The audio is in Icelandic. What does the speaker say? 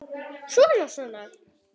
Svona, svona